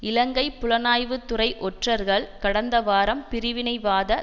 இலங்கை புலனாய்வு துறை ஒற்றர்கள் கடந்த வாரம் பிரிவினைவாத